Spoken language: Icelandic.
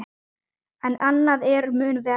En annað er mun verra.